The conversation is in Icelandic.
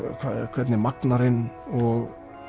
hvernig er magnarinn